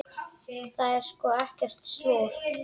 Það er sko ekkert slor.